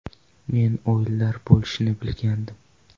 Men o‘yinlar bo‘lishini bilgandim.